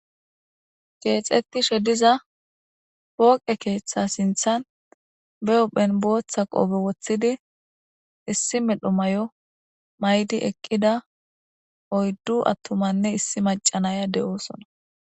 keexetishe diza pooqe keeththa sinthan be huphphen booththa qoobe woththidi issi medho mayo maydi eqqida oyddu attumanne issi macanaya de'osona